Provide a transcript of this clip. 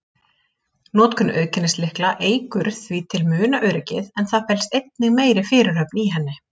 Notkun auðkennislykla eykur því til muna öryggið, en það felst einnig meiri fyrirhöfn í henni.